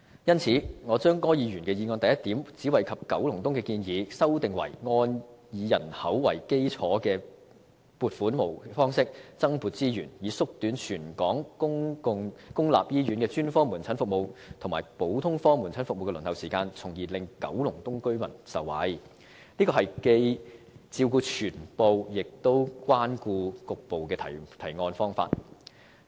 因此，我把柯議員的議案第一點只惠及九龍東的建議修訂為"按以人口為基礎的撥款模式增撥資源，以縮短全港公立醫院的專科門診服務及普通科門診服務的輪候時間，從而令九龍東居民受惠"，這是既照顧全部亦關顧局部的提案方法。